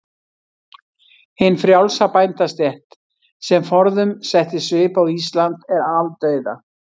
Hin frjálsa bændastétt, sem forðum setti svip á Ísland, er aldauða.